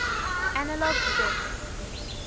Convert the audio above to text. analog circuits